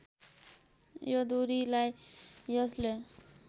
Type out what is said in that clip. यो दूरीलाई यसले